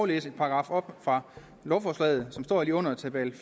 læse en paragraf op fra lovforslaget som står lige under tabel